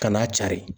Ka n'a cari